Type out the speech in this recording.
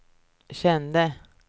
kände